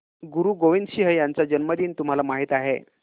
गुरु गोविंद सिंह यांचा जन्मदिन तुम्हाला माहित आहे